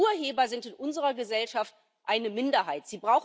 Und Urheber sind in unserer Gesellschaft eine Minderheit.